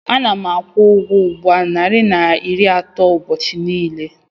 Ana m akwụ ụgwọ ụgbọ narị na iri atọ ụbọchị niile.